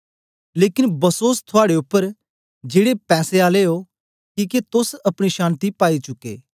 लेकन बसोस थुआड़े उपर जेड़े पैसें आले ओ किके तोस अपनी शान्ति पाई चुके